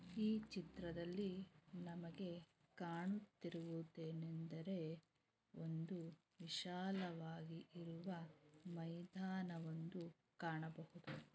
ಈ ಚಿತ್ರದಲ್ಲಿ ನಮಗೆ ಕಾಣ್ ತಿರುವದೇನಂದರೆ ಒಂದು ವಿಶಾಲವಾಗಿ ಇರುವ ಮೈದಾನ ಒಂದು ಕಾಣಬಹುದು .